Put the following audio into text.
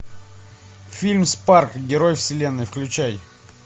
фильм спарк герой вселенной включай